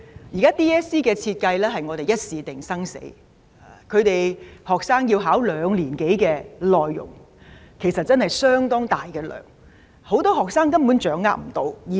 現時 DSE 的設計是"一試定生死"，學生的考試範圍是兩年多的教學內容，其實相當大量，很多學生根本無法掌握。